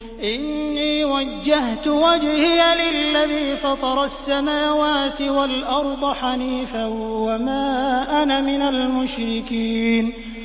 إِنِّي وَجَّهْتُ وَجْهِيَ لِلَّذِي فَطَرَ السَّمَاوَاتِ وَالْأَرْضَ حَنِيفًا ۖ وَمَا أَنَا مِنَ الْمُشْرِكِينَ